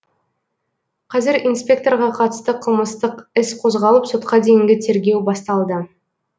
қазір инспекторға қатысты қылмыстық іс қозғалып сотқа дейінгі тергеу басталды